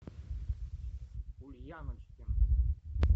ульяночкин